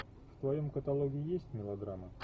в твоем каталоге есть мелодрама